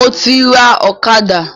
Mo ti rà ọ̀kadà